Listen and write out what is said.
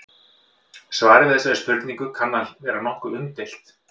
Svarið við þessari spurningu kann að vera nokkuð umdeilt.